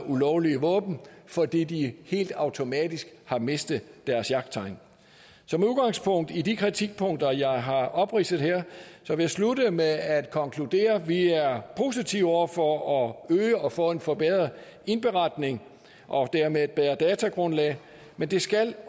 ulovlige våben fordi de helt automatisk har mistet deres jagttegn så med udgangspunkt i de kritikpunkter jeg har opridset her vil jeg slutte med at konkludere at vi er positive over for at øge og få en forbedret indberetning og dermed et bedre datagrundlag men det skal